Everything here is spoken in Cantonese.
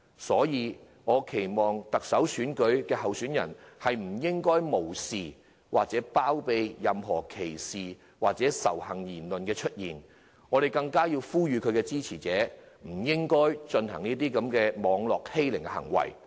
所以，我期望特首候選人不會無視或包庇任何人發出歧視或仇恨的言論，我們更要呼籲其支持者不要作出網絡欺凌的行為。